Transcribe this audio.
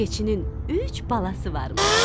Keçinin üç balası varmış.